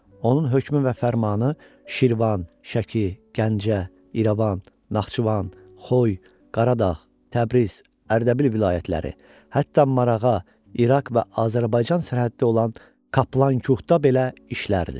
Onun hökmü və fərmanı Şirvan, Şəki, Gəncə, İrəvan, Naxçıvan, Xoy, Qaradağ, Təbriz, Ərdəbil vilayətləri, hətta Marağa, İraq və Azərbaycan sərhəddə olan Kaplan Kuxda belə işlərdi.